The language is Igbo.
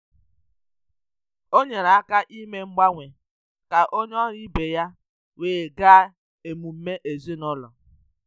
O nyere aka ime mgbanwe ka onye ọrụ ibe ya wee gaa emume ezinụlọ.